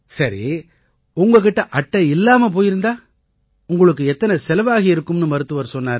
சரி உங்க கிட்ட அட்டை இல்லாம போயிருந்தா உங்களுக்கு எத்தனை செலவாகியிருக்கும்னு மருத்துவர் சொன்னாரு